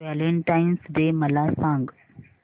Valentine's day मला सांग